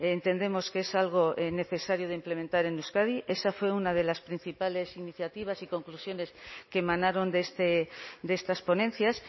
entendemos que es algo necesario de implementar en euskadi esa fue una de las principales iniciativas y conclusiones que emanaron de estas ponencias